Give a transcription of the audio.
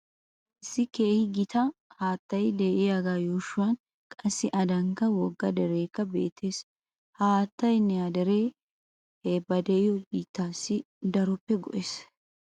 Issi keehi gita haattay de'iyagaa yuushuwan qassi adankka wogga dereekka beettees. Ha haattaynne ha deree he ba de'iyo biittaassi daroppe go'ees.